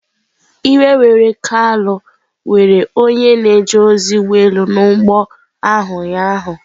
Iwe were Kalu were were onye na-eje ozi ụgbọ elu nọ n'ụgbọ ahụ ụnyahụ.